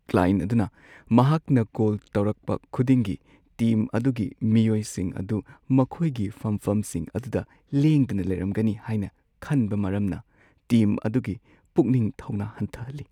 Client ꯑꯗꯨꯅ ꯃꯍꯥꯛꯅ goal ꯇꯧꯔꯛꯄ ꯈꯨꯗꯤꯡꯒꯤ ꯇꯤꯝ ꯑꯗꯨꯒꯤ ꯃꯤꯑꯣꯏꯁꯤꯡ ꯑꯗꯨ ꯃꯈꯣꯏꯒꯤ ꯐꯝꯐꯝꯁꯤꯡ ꯑꯗꯨꯗ ꯂꯦꯡꯗꯅ ꯂꯩꯔꯝꯒꯅꯤ ꯍꯥꯏꯅ ꯈꯟꯕ ꯃꯔꯝꯅ ꯇꯤꯝ ꯑꯗꯨꯒꯤ ꯄꯨꯛꯅꯤꯡ ꯊꯧꯅꯥ ꯍꯟꯊꯍꯜꯂꯤ ꯫